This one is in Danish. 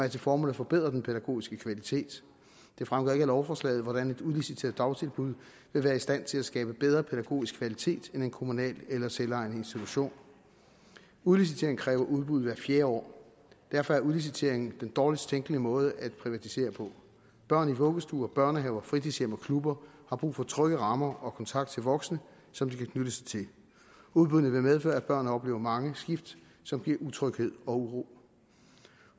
til formål at forbedre den pædagogiske kvalitet det fremgår ikke af lovforslaget hvordan et udliciteret dagtilbud vil være i stand til at skabe bedre pædagogisk kvalitet end en kommunal eller selvejende institution udlicitering kræver udbud hvert fjerde år og derfor er udlicitering den dårligst tænkelige måde at privatisere på børn i vuggestuer børnehaver fritidshjem og klubber har brug for trygge rammer og kontakt til voksne som de kan knytte sig til udbuddene vil medføre at børn oplever mange skift som giver utryghed og uro